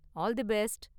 all the best